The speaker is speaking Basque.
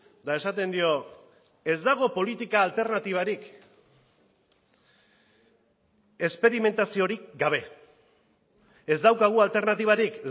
eta esaten dio ez dago politika alternatibarik esperimentaziorik gabe ez daukagu alternatibarik